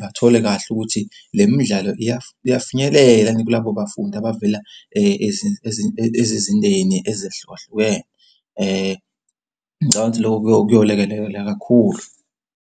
Bathole kahle ukuthi le midlalo iyafinyelela kulabo bafundi abavela ezizindeni ezehlukahlukene. Ngicabanga ukuthi lokho kuyolekelela kakhulu.